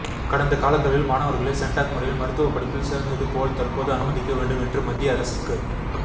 கடந்த காலங்களில் மாணவர்களை சென்டாக் முறையில் மருத்துவ படிப்பில் சேர்ந்தது போல் தற்போதும் அனுமதிக்க வேண்டும் என்று மத்திய அரசுக்கு